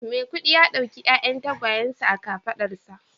Miakudi ya dauki 'ya'yan tagwayensa a kafadarsa